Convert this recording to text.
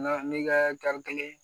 Nga n'i ka kelen